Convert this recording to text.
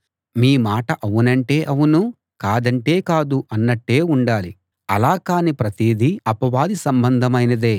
మీ మాట అవునంటే అవును కాదంటే కాదు అన్నట్టే ఉండాలి అలా కాని ప్రతిదీ అపవాది సంబంధమైనదే